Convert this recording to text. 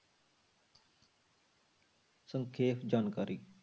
ਸੰਖੇਪ ਜਾਣਕਾਰੀ।